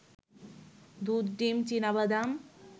দুধ, ডিম, চিনাবাদাম